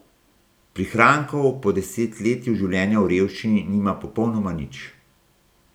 Prihrankov po desetletju življenja v revščini nima popolnoma nič.